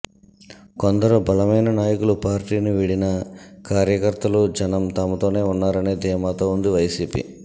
కొందరు బలమైన నాయకులు పార్టీని వీడినా కార్యకర్తలు జనం తమతోనే ఉన్నారనే ధీమాతో ఉంది వైసీపీ